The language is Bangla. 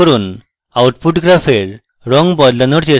output graph রঙ বদলানোর চেষ্টা করুন